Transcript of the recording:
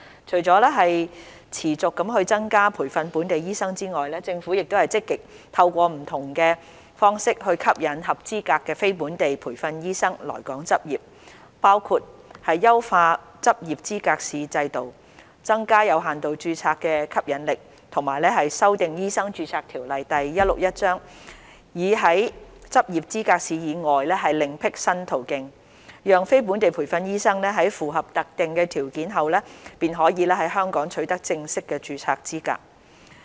除了持續增加培訓本地醫生外，政府亦積極透過不同方式吸引合資格的非本地培訓醫生來港執業，包括優化執業資格試制度、增加有限度註冊的吸引力，以及修訂《醫生註冊條例》，以在執業資格試以外另闢新途徑，讓非本地培訓醫生在符合特定條件後，便可在香港取得正式註冊資格。